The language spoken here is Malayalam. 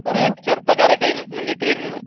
കൊറേ ചെറുപ്പക്കാരൊക്കെ അയിന് മുന്നിട്ട് വരുന്ന്